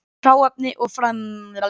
Hráefni og framleiðsluferli